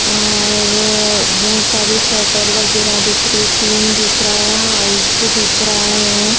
और बहोत सारी शटर वगैरा दिख रही टीन दिख रहा है यहाँ हाउस भी दिख रहा है।